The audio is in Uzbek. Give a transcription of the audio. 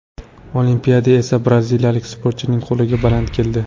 Olimpiada esa braziliyalik sportchining qo‘li baland keldi.